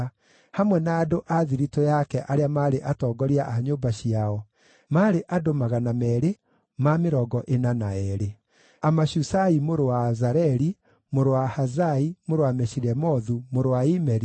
hamwe na andũ a thiritũ yake arĩa maarĩ atongoria a nyũmba ciao, maarĩ andũ 242; Amashusai mũrũ wa Azareli, mũrũ wa Ahazai, mũrũ wa Meshilemothu, mũrũ wa Imeri,